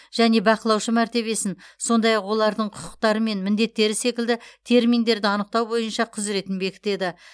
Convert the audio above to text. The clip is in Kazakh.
және бақылаушы мәртебесін сондай ақ олардың құқықтары мен міндеттері секілді терминдерді анықтау бойынша құзыретін бекітеді